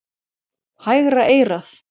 Hægra eyrað.